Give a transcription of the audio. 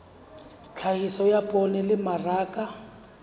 tlhahiso ya poone le mmaraka